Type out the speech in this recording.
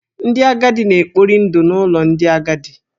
Ndị agadi na-ekpori ndụ n’ụlọ ndị agadi.